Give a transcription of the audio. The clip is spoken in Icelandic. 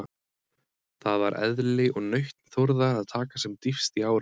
Það var eðli og nautn Þórðar að taka sem dýpst í árinni.